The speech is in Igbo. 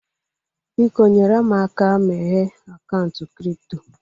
Biko, nyere m aka meghee akaụntụ kripto